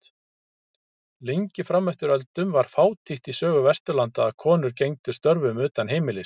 Lengi fram eftir öldum var fátítt í sögu Vesturlanda að konur gegndu störfum utan heimilis.